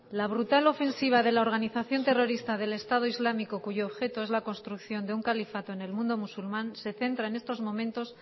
la brutal ofensiva de la organización terrorista del estado islámico cuyo objeto es la construcción de un califato en el mundo musulmán se centra en estos momentos